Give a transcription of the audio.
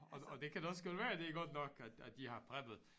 Og og det kan da også godt være det er godt nok at at de har preppet